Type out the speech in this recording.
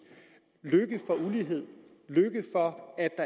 lykke for ulighed lykke for